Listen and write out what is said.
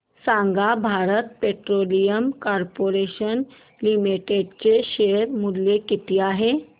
सांगा Bharat petroleum corporation limited चे share मूल्य किती आहे